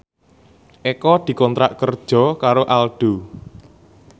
Eko dikontrak kerja karo Aldo